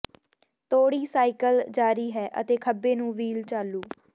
ਤੋੜੀ ਸਾਈਕਲ ਜਾਰੀ ਹੈ ਅਤੇ ਖੱਬੇ ਨੂੰ ਵੀਲ ਚਾਲੂ